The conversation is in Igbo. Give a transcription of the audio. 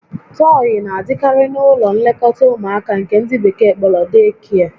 Tọyị na-adịkarị n'ụlọ nlekọta ụmụaka nke ndị Bekee kpọrọ "deekie"